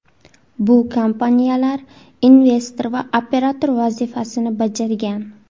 Bu kompaniyalar investor va operator vazifasini bajargan.